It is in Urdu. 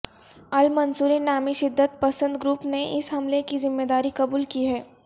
المنصورین نامی شدت پسند گروپ نے اس حملے کی ذمےداری قبول کی ہے